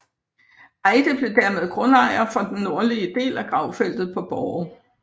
Eyde blev dermed grundejer for den nordlige del af gravfeltet på Borre